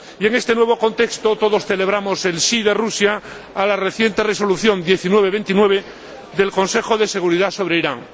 En este nuevo contexto todos celebramos el sí de Rusia a la reciente Resolución 1929 del Consejo de Seguridad sobre Irán.